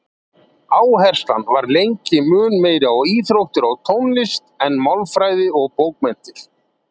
Áherslan var lengi mun meiri á íþróttir og tónlist en málfræði og bókmenntir.